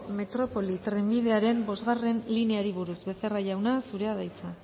metropoli trenbidearen bostgarrena lineari buruz becerra jauna zurea da hitza